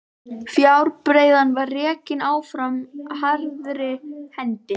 Fjárbreiðan var rekin áfram harðri hendi.